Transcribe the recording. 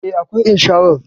E, akwai insharar